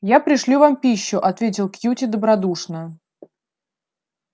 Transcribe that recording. я пришлю вам пищу ответил кьюти добродушно